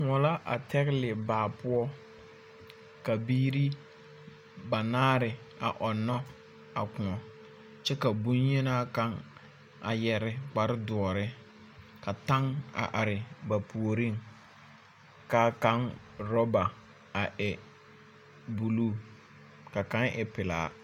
Kõɔ la a tɛgele baa poɔ ka biiri banaare a ɔnnɔ a kõɔ. Kyɛ ka bonyenaa kaŋ a yɛre kparedoɔre. Ka taŋ a are ba puoriŋ. K'a kaŋ rɔba a e buluu ka kaŋ e pelaa.